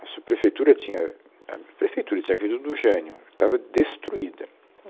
A subprefeitura tinha, a prefeitura tinha vindo do Jânio, estava destruída.